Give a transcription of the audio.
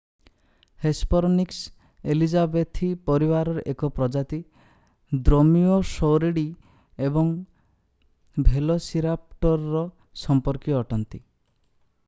Hesperonychus ଏଲୀଯାବେଥି ପରିବାରର ଏକ ପ୍ରଜାତି ଦ୍ରୋମିଓଷୌରୀଡି ଏବଂ ଭେଲୋସିରାପ୍ଟରର ସମ୍ପର୍କୀୟ ଅଟନ୍ତି